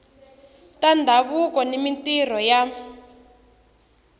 ta ndhavuko na mintirho ya